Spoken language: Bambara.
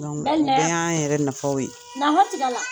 o bɛɛ y'an yɛrɛ nafaw ye.